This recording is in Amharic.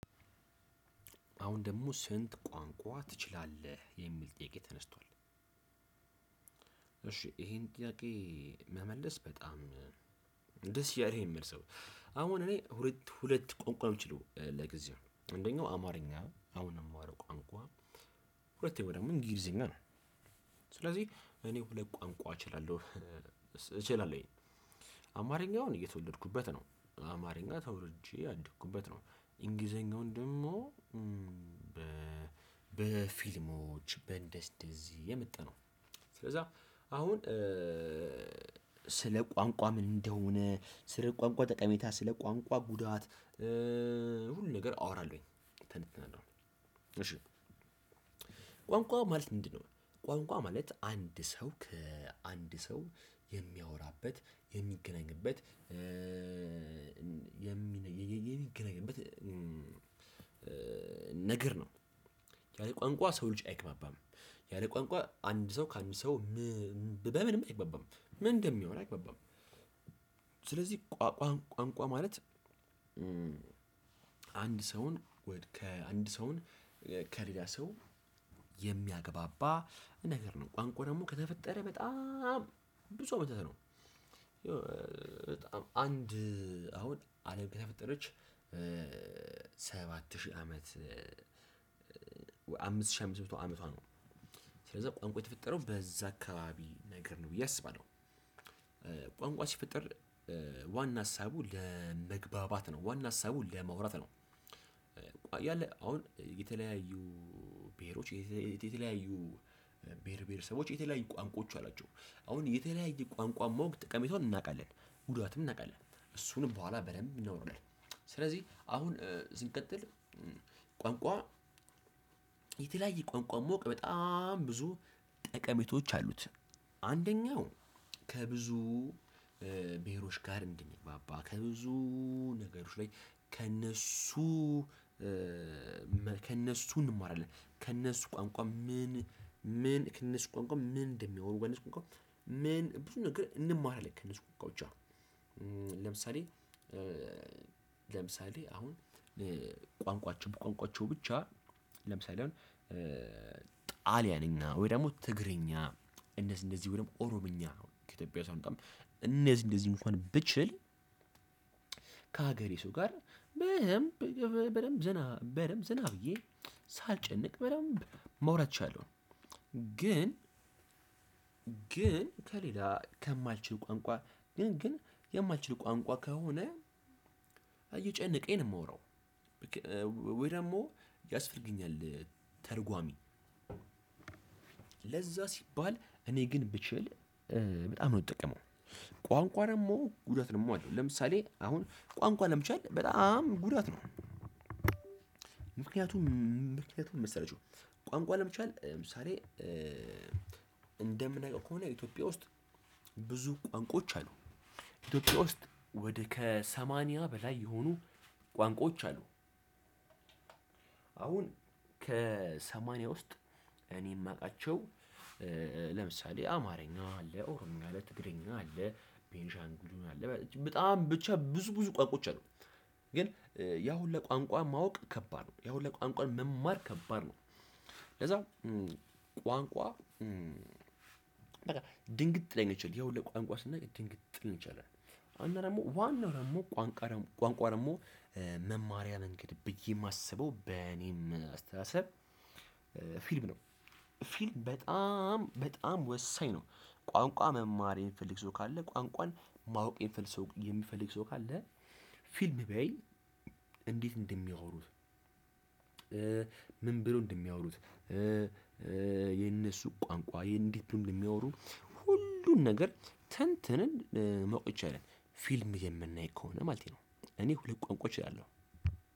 አሁን ደግሞ ስንት ቋንቋ ትችላለህ? የሚል ጥያቄ ተነስቷል እሺ ይሄን ጥያቄ መመለስ በጣም ደስ እያለኝ ነው የሚመልሰው አሁን እኔ ሁለት ቋንቋ የምችለው ለጊዜው አንደኛው አማርኛ አሁን ነው የማወራው ቋንቋ ሁለኛ ደግሞ እንግሊዘኛ ነው ስለዚህ እኔ ሁለት ቋንቋ እችላለሁ እችላለሁኝ አማርኛን የተወለድኩበት ነው አማርኛ ተወልጄ ያደኩበት ነው እንግሊዘኛውን ደግሞ በፊልሞች በእንደዚህ በእንደዚህ የመጣ ነው። ስለዛ አሁን ስለ ቋንቋ ምን እንደሆነ ስለ ቋንቋ ጠቀሜታ ስለ ቋንቋ ጉዳት ሁሉ ነገር አወራለሁኝ ትንትናለሁ እሺ ቋንቋ ማለት ምንድነው? ቋንቋ ማለት አንድ ሰው ከአንድ ሰው የሚያወራበት የሚገናኝበት የሚገናኝበት። ነገር ነው ያለ ቋንቋ የሰው ልጅ አይግባባም ያለ ቋንቋ አንድ ሰው ከአንድ ሰው በምንም አይግባባም በምንም ብሆን አይግባባም ስለዚህ ቋንቋ ማለት አንድ ሰውን ከአንድ ሰውን ከሌላ ሰው የሚያገባባ ነገር ነው ቋንቋ ደግሞ ከተፈጠረ በጣም ብዙ አታት ነው። አንድ አሁን አለም ከተፈጠረች ሰባት ሺህ አመት አምስት ሺህ አምስት መቶ አመቷ ነው ስለዛ ቋንቋ የተፈጠረው በዛ አካባቢ ነገር ነው ብዬ አስባለሁ ቋንቋ ሲፈጠር ዋና ሀሳቡ ለመግባባት ነው። ዋና ሀሳቡን ለማውራት ነው። ያለ አሁን የተለያዩ ብሄሮች የተለያዩ ብሄር ብሄር ሰቦች የተለያዩ ቋንቋዎች አላቸው አሁን የተለያየ ቋንቋ ማወቅ ተቀሜታውን እናውቃለን ጉዳትም እናውቃለን እሱንም በኋላ በደንብ እናውራለን። ስለዚህ አሁን ስንቀጥል ቋንቋ የተለያየ ቋንቋ ማወቅ በጣም ብዙ ጠቀሜታዎች አሉት። አንደኛው ከብዙ ብሄሮች ጋር እንድንግባባ ከብዙ ነገሮች ላይ ከእነሱ ከእነሱ እንማራለን ከእነሱ ቋንቋ ምን ምን ከእነሱ ቋንቋ ምን እንደሚያወሩ በእንሱ ቋንቋ ምን ብዙ ነገር እንማራለን ከእነሱ ቋንቋ ውጪ ለምሳሌ አሁን በቋንቋቸው ብቻ ለምሳሌ አሁን ጣሊያንኛ ወይ ደግሞ ትግርኛ እነዚህ እንደዚህ ወይ ደግሞ ኦሮምኛ ነው ከኢትዮጵያ ውስጥ በጣም እነዚህ እንደዚህ እንኳን ብችል ከሀገሬ ሰው ጋር በደንብ ዝና በደንብ ዝና ብዬ ሳልጨነቅ በደንብ መውራት ይችላለው ግን ግን ከሌላ ከማልችል ቋንቋ ግን ግን የማልችል ቋንቋ ከሆነ እየጨነቀኝ ነው የምወራው ወይ ደግሞ ያስፈልገኛል። ተርጓሚ ለዛ ሲባል እኔ ግን ብችል በጣም ነው የምጠቀመው ቋንቋ ደግሞ ጉዳት ደግሞ አለው ለምሳሌ አሁን ቋንቋ ለምቻል በጣም ጉዳት ነው። ምክንያቱም ምን መሰላቹ ቋንቋ ለመቻል ለምሳሌ እንደምናውቀው ከሆነ ኢትዮጵያ ውስጥ ብዙ ቋንቋዎች አሉ ኢትዮጵያ ውስጥ ወደ ከሰማንያ በላይ የሆኑ ቋንቋዎች አሉ። አሁን ከሰማንያ ውስጥ እኔ የማውቃቸው ለምሳሌ አማርኛ አለ ኦሮምኛ አለ ትግርኛ አለ ቤንሻንግሉ አለ በጣም ብቻ ብዙ ብዙ ቋንቋዎች አሉ ግን ያው ሁላ ቋንቋ ማወቅ ከባድ ነው ያው ሁላ ቋንቋ መማር ከባድ ነው። ለዛም ቋንቋ ድንግጥ ልንል እንችላለን ያሁላ ቋንቋ ስናይ ድንግጥ ልንል እንችላለን ዋናው ደግሞ ዋናው ደግሞ ቋንቋ ደግሞ ቋንቋ ደግሞ መማሪያን እንግድ ብዬ የማስበው በእኔም አስተሳሰብ ፊልም ነው ፊልም በጣም በጣም ወሳኝ ነው ቋንቋ መማር የሚፈልግ ሰው ካለ ቋንቋን ማወቄ የሚፈልግ የሚፈልግ ሰው ካለ ፊልም ቢያይ እንዴት እንደሚያወሩት ምን ብሎ እንደሚያወሩት የነሱ ቋንቋ እንደት እንደሚያወሩ ሁሉን ነገር ተንትንን ማወቅ ይቻላል ፊልም የምናይ ከሆነ ማለት ነው እኔ ሁለት ቋንቋ እችላለሁ።